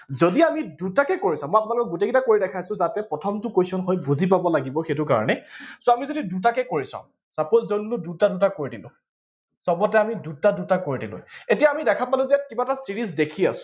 যদি আমি দুটাকে কৰি চাওঁ, মই আপোনালোকক গোটেই কেইটা কৰি দেখাইছো যাতে প্ৰথমটো question হৈ বুজি পাব লাগিব, সেইটো কাৰণে so আমি যদি দুটাকে কৰি চাওঁ suppose ধৰি ললো দুটা দুটা কৰি দিলো চবতে আমি দুটা দুটা কৰি দিলো এতিয়া আমি দেখা পালো যে কিবা এটা series দেখি আছো